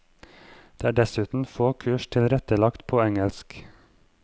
Det er dessuten få kurs tilrettelagt på engelsk.